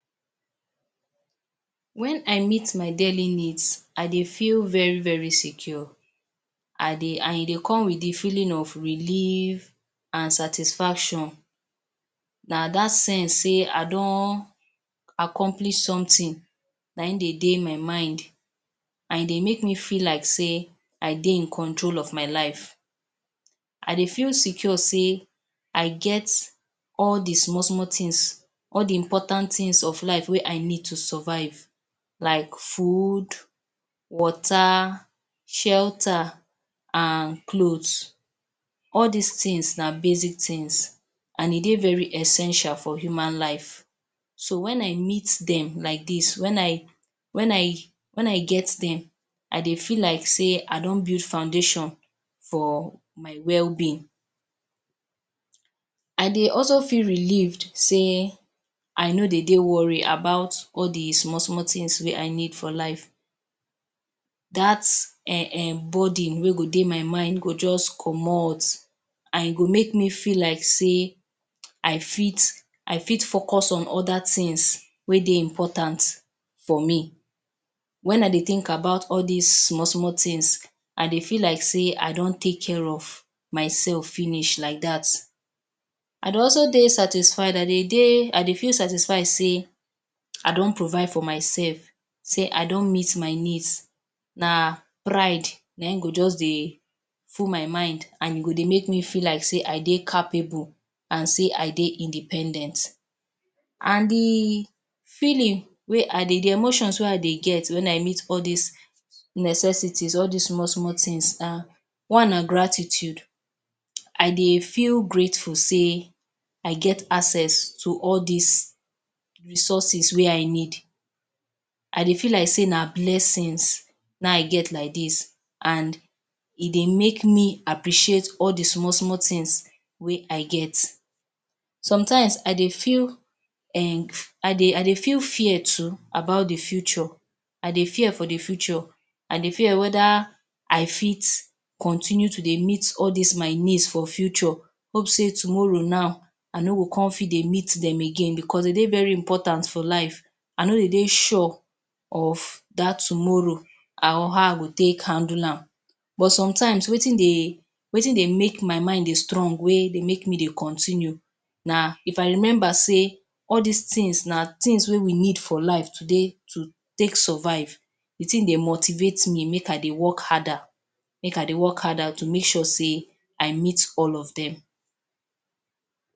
Wen I meet my daily need, I dey feel very-very secure. I dey an e dey come with the feeling of relief, an satisfaction. Na dat sense sey I don accomplish something, nae in dey dey my mind, an e dey make me feel like sey I dey in control of my life. I dey feel secure sey I get all the small-small tins, all the important tins of life wey I need to survive like food, water, shelter an cloths. All dis tins na basic tins, an e dey very essential for human life. So, wen I meet dem like dis, wen I wen I wen I get dem, I dey feel like sey I don build foundation for my wellbeing. I dey also feel relieved sey I no dey dey worry about all the small-small tins wey I need for life. Dat um burden wey go dey my mind go juz comot, an e go make me feel like sey I fit I fit focus on other tins wey dey important for me. Wen I dey think about all dis small-small tins, I dey feel like sey I don take care of my self finish like dat. I dey also dey satisfied I dey dey I dey feel satisfied sey I don provide for mysef, sey I don meet my needs. Na pride na ein go juz dey full my mind, an e go dey make me feel like sey I dey capable, an sey I dey independent. An the feeling wey I dey the emotions wey I dey get wen I meet all dis necessities, all dis small-small tins are: One na gratitude. I dey feel grateful sey I get access to all dis resources wey I need. I dey feel like sey na blessings na I get like dis an e dey make me appreciate all the small-small tins wey I get. Sometimes, I dey feel I dey I dey feel fear too about the future. I dey fear for the future. I dey fear whether I fit continue to dey meet all dis my needs for future. Hope sey tomorrow now, I no go con fit dey meet dem again becos de dey very important for life. I no dey dey sure of dat tomorrow an how I go take handle am. But sometimes, wetin dey wetin dey make my mind dey strong wey dey make me dey continue na if I remember sey all dis tins na tins wey we need for life today to take survive, the tin dey motivate me make I dey work harder. Make I dey work harder to make sure sey I meet all of dem.